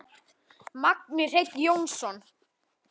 Magni Hreinn Jónsson